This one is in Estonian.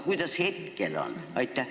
Kuidas praegu on?